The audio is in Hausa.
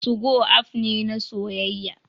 2go app ne na soyayya